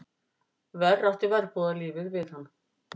Verr átti verbúðarlífið við hann.